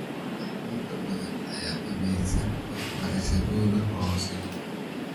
Arday badan ayaan dhameysan waxbarashadooda hoose.